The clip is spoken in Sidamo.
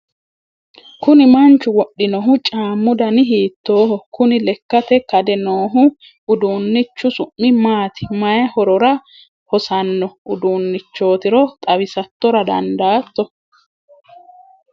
kuni manchu wodhinohu caammu dani hiittooho? kuni lekkatenni kade noohu uduunnichu su'mi maati? mayii horora hosanno uduunnichootiro xawisattora dandaatto ?